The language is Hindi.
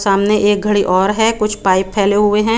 सामने एक घड़ी और है कुछ पाइप फैले हुए है।